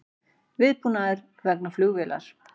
Viðbúnaður vegna flugvélar